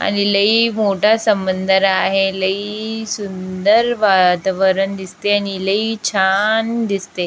आणि लय मोटा समंदर आहे आणि लय सुंदर वातावरण दिसते आणि लय छान दिसते.